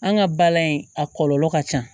An ka bala in a kɔlɔlɔ ka ca